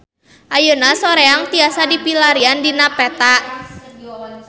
Ayeuna Soreang tiasa dipilarian dina peta